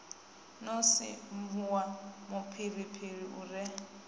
no sinvuwa mufhirifhiri u re